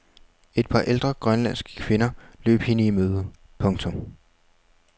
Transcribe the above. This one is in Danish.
Et par ældre grønlandske kvinder løb hende i møde. punktum